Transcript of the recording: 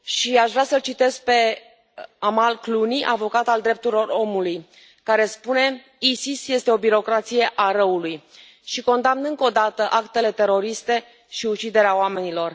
Aș vrea să o citez pe Amal Clooney, avocată a drepturilor omului, care spune Isis este o birocrație a răului și să condamn încă o dată actele teroriste și uciderea oamenilor.